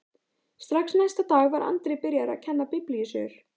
Strax næsta dag var Andri byrjaður að kenna biblíusögur.